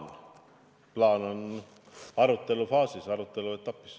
See plaan on arutelufaasis, aruteluetapis.